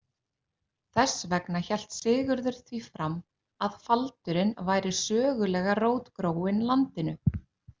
Þess vegna hélt Sigurður því fram að faldurinn væri sögulega rótgróinn landinu.